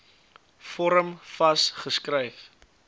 vorm vas geskryf